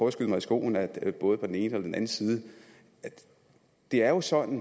at skyde mig i skoene med både på den ene på den anden side det er jo sådan